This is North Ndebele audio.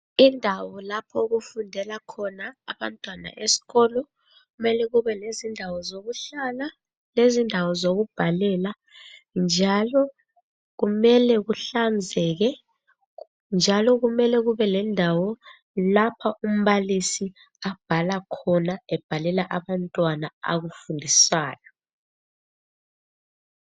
Indawo lapho okufundela khona abantwana esikolo kumele kube lezindawo zokuhlala lezindawo zokubhalela njalo kumele kuhlanzeke njalo kumele kubelendawo lapha umbalisi abhala khona ebhalela abantwana akufundisayo.